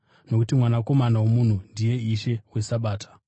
Nokuti Mwanakomana woMunhu ndiye Ishe weSabata.”